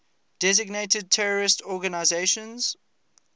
designated terrorist organizations